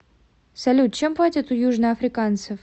салют чем платят у южноафриканцев